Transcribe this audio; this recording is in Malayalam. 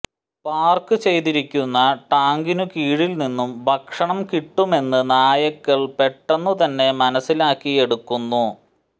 പാർക്കു ചെയ്തിരിക്കുന്ന ടാങ്കിനു കീഴിൽനിന്നു ഭക്ഷണം കിട്ടുമെന്ന് നായ്ക്കൾ പെട്ടെന്നുതന്നെ മനസ്സിലാക്കിയെടുക്കുന്നു